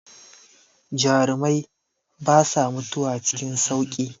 Jarumai basa mutuwa cikin sauƙi.